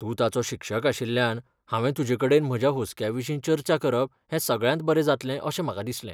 तूं ताचो शिक्षक आशिल्ल्यान हांवें तुजेकडेन म्हज्या हुस्क्याविशीं चर्चा करप हें सगळ्यांत बरें जातलें अशें म्हाका दिसलें .